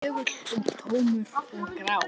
Þögull og tómur og grár.